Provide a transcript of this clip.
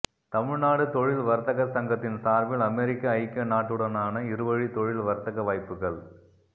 தமிழ்நாடு தொழில் வர்த்தக சங்கத்தின் சார்பில் அமெரிக்க ஐக்கிய நாட்டுடனான இருவழி தொழில் வர்த்தக வாய்ப்புகள்